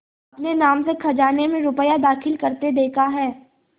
अपने नाम से खजाने में रुपया दाखिल करते देखा है